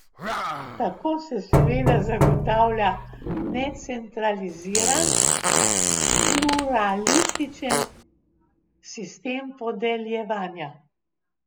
Tako se seveda zagotavlja necentraliziran, pluralističen sistem podeljevanja.